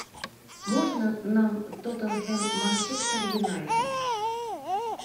можно нам тоттенхэм манчестер юнайтед